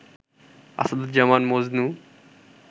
Asaduzzaman Majnu